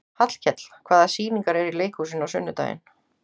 Hallkell, hvaða sýningar eru í leikhúsinu á sunnudaginn?